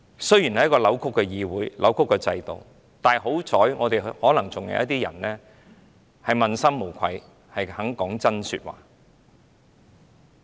雖然這是扭曲的議會和制度，但可能還有一些人問心無愧，肯說真話。